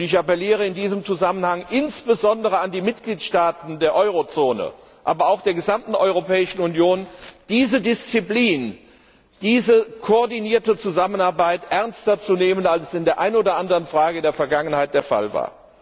Ich appelliere in diesem Zusammenhang insbesondere an die Mitgliedstaaten der Eurozone, aber auch der gesamten Europäischen Union, diese Disziplin, diese koordinierte Zusammenarbeit ernster zu nehmen, als es in der einen oder anderen Frage in der Vergangenheit der Fall war.